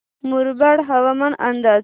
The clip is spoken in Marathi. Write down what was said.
मुरबाड हवामान अंदाज